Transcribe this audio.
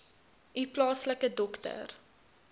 u plaaslike dokter